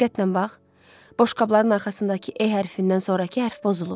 Diqqətlə bax, boşqabların arxasındakı E hərfidən sonrakı hərf pozulub.